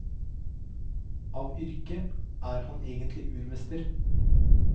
Av yrke er han egentlig urmester.